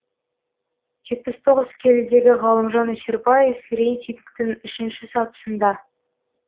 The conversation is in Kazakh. жетпіс тоғыз келідегі ғалымжан өсербаев рейтингтің үшінші сатысында